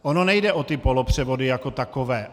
Ono nejde o ty polopřevody jako takové.